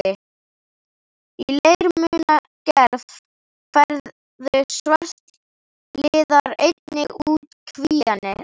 Í leirmunagerð færðu svartliðar einnig út kvíarnar.